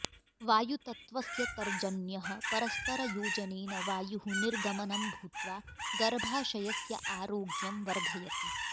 वायुतत्वस्य तर्जन्यः परस्परयोजनेन वायुः निर्गमनं भूत्वा गर्भाशयस्य आरोग्यं वर्धयति